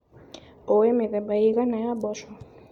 ũĩ mĩthemba ĩigana ya mboco.